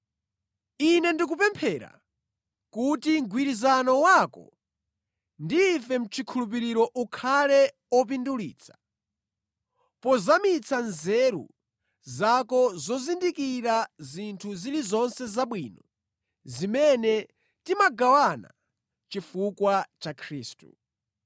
Ine ndikupemphera kuti mgwirizano wako ndi ife mʼchikhulupiriro ukhale opindulitsa pozamitsa nzeru zako zozindikira zinthu zilizonse zabwino zimene timagawana chifukwa cha Khristu.